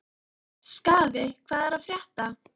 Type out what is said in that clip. Skaði, hvað er að frétta?